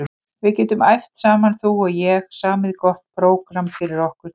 Við getum æft saman þú og ég, samið gott prógramm fyrir okkur tvær.